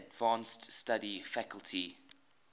advanced study faculty